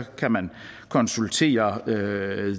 kan man konsultere the